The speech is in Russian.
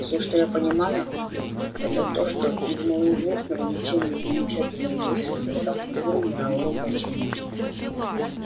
всё что я понимаю это то что из малоизвестного ничем не примечательного юриста я стал фигурой мирового значения